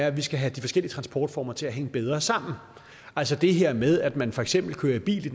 at vi skal have de forskellige transportformer til at hænge bedre sammen altså det her med at man for eksempel kører i bil